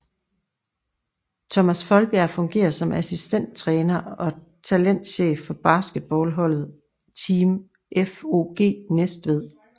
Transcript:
Thomas Foldbjerg fungerer som assistenttræner og talentchef for basketballholdet Team FOG Næstved